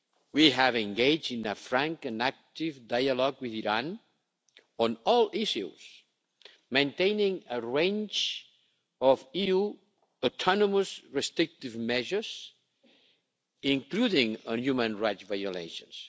We have engaged in a frank and active dialogue with Iran on all issues, maintaining a range of EU autonomous restrictive measures, including on human rights violations.